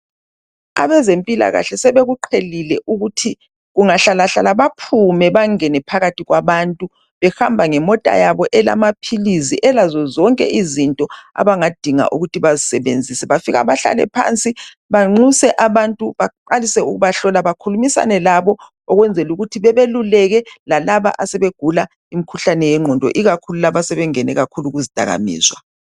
Abezempilakahle sebekuqhelile ukuthi kungahlalahlala bephume bengene phakathi kwabantu behamba ngemota yabo elamaphilizi elazozonke izinto abangadinga ukuthi bazisebenzise bafika bahlalephansi banxuse abantu baqalise ukubahlola bakhulume labo , ukwenzela ukuthi babeluleke lapaba asebegula imkhuhlane yengqondo ikakhulu labo asebengene kuzidakamizwa